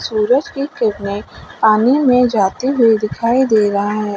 सूरज की किरने पानी में जाती हुई दिखाई दे रहा है।